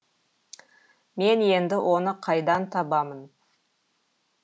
мен енді оны қайдан табамын